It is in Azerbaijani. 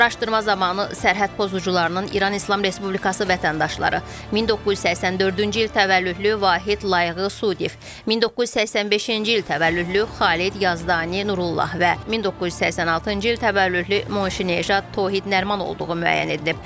Araşdırma zamanı sərhəd pozucularının İran İslam Respublikası vətəndaşları 1984-cü il təvəllüdlü Vahid Layığı Sudiyev, 1985-ci il təvəllüdlü Xalid Yazdani Nurullah və 1986-cı il təvəllüdlü Moşineja Tohid Nəriman olduğu müəyyən edilib.